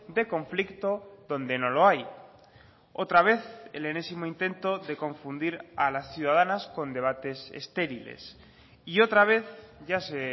de conflicto donde no lo hay otra vez el enésimo intento de confundir a las ciudadanas con debates estériles y otra vez ya se